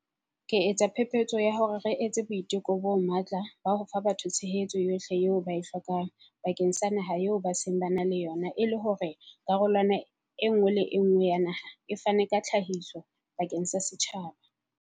Ke etsa phephetso ya hore re etse boiteko bo matla ba ho fa batho tshehetso yohle eo ba e hlokang bakeng sa naha eo ba seng ba na le yona e le hore karolwana e nngwe le e nngwe ya naha e fane ka tlhahiso bakeng sa setjhaba.